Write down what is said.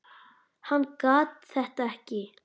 Hann gat þetta ekki.